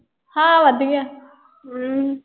ਹਾਂ ਵਧੀਆ। ਅਮ